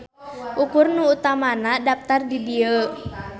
Ukur nu utamana daptar di dieu.